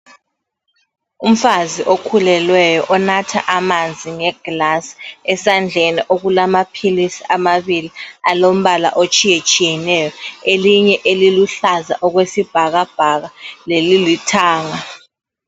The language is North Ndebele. Umfazi okhulelweyo onatha amanzi ngeglass, esandleni okulamaphilisi amabili alombala otshiyetshiyeneyo. Elinye eliluhlaza okwesibhakabhaka lelilithanga.